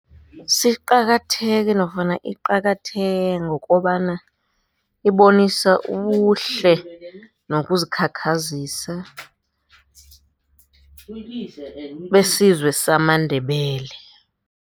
Siqakatheke nofana iqakatheke ngokobana ibonisa ubuhle nokuzikhakhazisa besizwe samaNdebele.